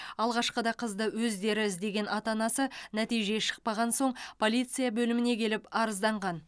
алғашқыда қызды өздері іздеген ата анасы нәтиже шықпаған соң полиция бөліміне келіп арызданған